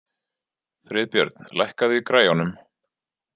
Friðbjörn, lækkaðu í græjunum.